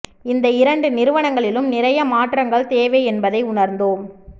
இந்த இரண்டு நிறுவனங்களிலும் நிறைய மாற்றங்கள் தேவை என்பதை உணர்ந்தோம்